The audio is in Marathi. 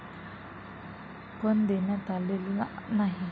पण, देण्यात आलेला नाही.